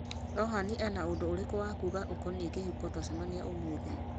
rohan ena undũ ũrĩkũ wa kuuga ũkoniĩ kĩhiko twacemania ũmũthĩ